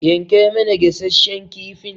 yanka mana gasasshen kifin.